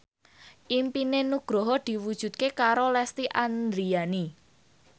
impine Nugroho diwujudke karo Lesti Andryani